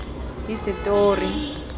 hisetori